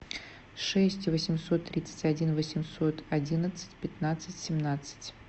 шесть восемьсот тридцать один восемьсот одиннадцать пятнадцать семнадцать